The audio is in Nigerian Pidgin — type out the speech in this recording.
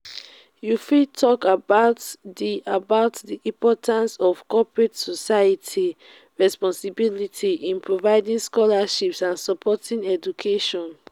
you fit talk about di about di importance of corporate social responsibility in providing scholarships and supporting education.